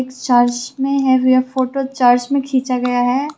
Church मे है यह फोटो चर्च में खींचा गया है।